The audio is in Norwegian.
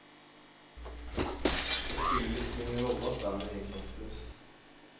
Det spiller liksom ingen rolle at bandet egentlig er oppløst.